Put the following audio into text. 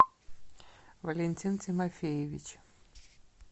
валентин тимофеевич